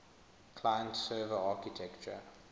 client server architecture